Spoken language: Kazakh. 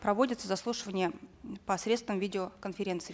проводятся заслушивания посредством видеоконференции